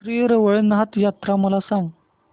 श्री रवळनाथ यात्रा मला सांग